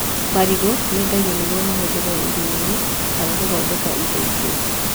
Marĩgũ mendagio nĩguo mahũthĩrwo irio-inĩ kana gũthondeka indo ingĩ